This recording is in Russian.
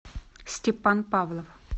степан павлов